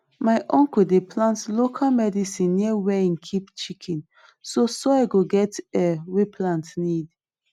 my uncle dey plant local medicine near where him keep chicken so soil go get air wey plant need